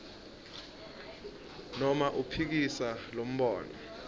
noma uphikise lombono